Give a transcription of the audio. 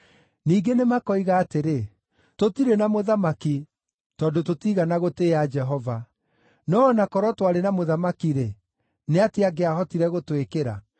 Ningĩ nĩmakoiga atĩrĩ, “Tũtirĩ na mũthamaki, tondũ tũtiigana gũtĩĩa Jehova. No o na korwo twarĩ na mũthamaki-rĩ, nĩ atĩa angĩahotire gũtwĩkĩra?”